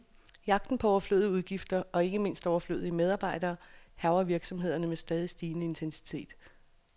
Jagten på overflødige udgifter, og ikke mindst overflødige medarbejdere, hærger virksomhederne med stadig stigende intensitet.